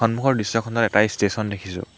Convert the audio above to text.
সন্মুখৰ দৃশ্যখনত এটা ষ্টেছন দেখিছোঁ।